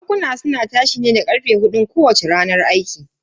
Bankuna suna tashi aiki ne da karfe hudun kowacce ranar aiki.